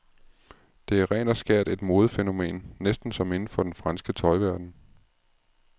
Det er rent og skært et modefænomen, næsten som inden for den franske tøjverden.